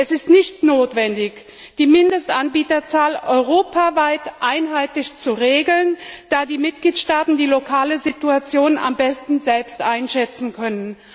Es ist nicht notwendig, die Mindestanbieterzahl europaweit einheitlich zu regeln, da die Mitgliedstaaten die lokale Situation am besten selbst einschätzen können.